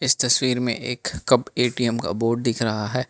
इस तस्वीर में एक कब ए_टी_एम का बोर्ड दिख रहा है।